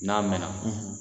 N'a mɛɛnna,